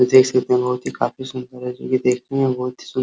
देख सकते है बहोत ही काफी सुंदर है। जो ये देखने में बहोत ही सुन्दर --